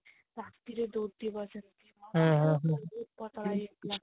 ରାତିରେ ଦୌଡିବ ସେମତି ପତଳା ଇଏ ପିଲାଟା